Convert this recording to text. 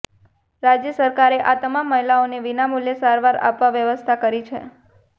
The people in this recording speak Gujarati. રાજ્ય સરકારે આ તમામ મહિલાને વિનામૂલ્યે સારવાર આપવા વ્યવસ્થા કરી છે